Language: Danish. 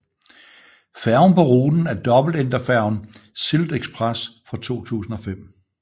Færgen på ruten er dobbeltenderfærgen SyltExpress fra 2005